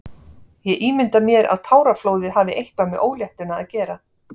Ég ímynda mér að táraflóðið hafi eitthvað með óléttuna að gera.